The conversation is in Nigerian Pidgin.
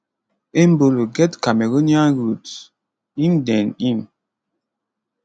embolo get cameroonian roots im den im